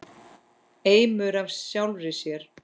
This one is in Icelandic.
Eimur af sjálfri sér.